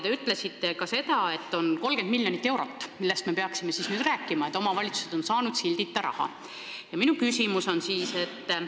Te ütlesite ka seda, et omavalitsused on saanud sildita raha, seda on 30 miljonit eurot, millest me peaksime nüüd rääkima.